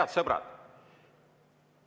Head sõbrad!